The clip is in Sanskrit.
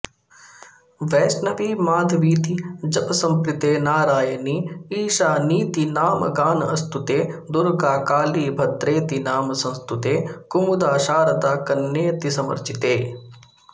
वैष्णवी माधवीति जपसंप्रीते नारायणी ईशानीति नामगानस्तुते दुर्गा काली भद्रेतिनाम संस्तुते कुमुदा शारदा कन्येतिसमर्चिते